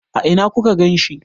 A ina ku ka ganshi?